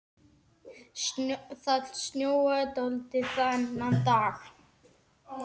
Það snjóaði dálítið þennan dag.